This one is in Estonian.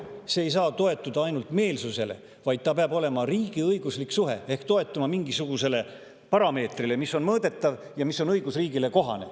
See ei saa toetuda ainult meelsusele, vaid see peab olema riigiõiguslik suhe ehk toetuma mingisugusele parameetrile, mis on mõõdetav ja õigusriigile kohane.